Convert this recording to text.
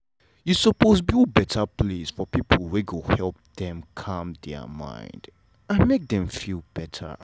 you suppose build better place for people wey go help them calm their mind and make them feel better